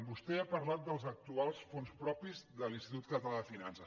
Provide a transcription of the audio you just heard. vostè ha parlat dels actuals fons propis de l’institut català de finances